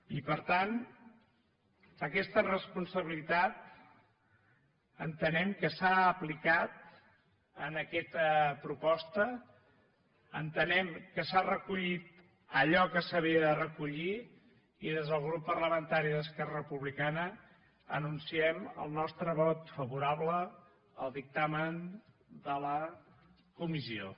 i per tant aquesta responsabilitat entenem que s’ha aplicat en aquesta proposta entenem que s’ha recollit allò que s’havia de recollir i des del grup parlamentari d’esquerra republicana anunciem el nostre vot favo·rable al dictamen de la comissió